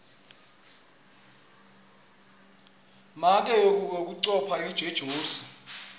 make uye kuyocupha ejozi